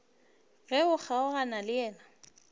ge o kgaogana le yena